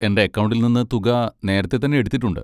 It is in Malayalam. എന്റെ അക്കക്കൗണ്ടിൽ നിന്ന് തുക നേരത്തെ തന്നെ എടുത്തിട്ടുണ്ട്.